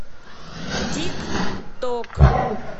тик ток